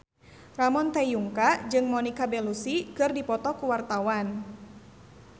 Ramon T. Yungka jeung Monica Belluci keur dipoto ku wartawan